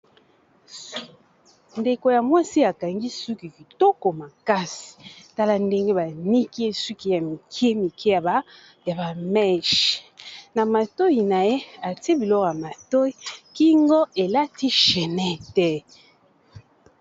Ndeko ya mwasi akangi suki kitoko makasi tala ndenge baniki ye suki ya mikie mikie ya ba meche na matoyi na ye atie biloko ya matoyi kingo elati chaînette.